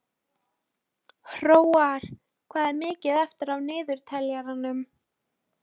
Hróar, hvað er mikið eftir af niðurteljaranum?